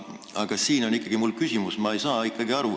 Aga mul on ikkagi küsimus.